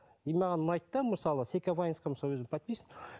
и маған ұнайды да мысалы секавайнсқа мысалы өзім подписан